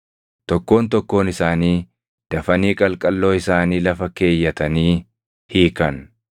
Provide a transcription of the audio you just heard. Tokkoon tokkoon isaanii dafanii qalqalloo isaanii lafa keeyyatanii hiikan.